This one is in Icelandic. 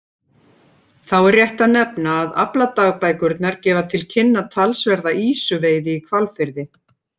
Þá er rétt að nefna að afladagbækurnar gefa til kynna talsverða ýsuveiði í Hvalfirði.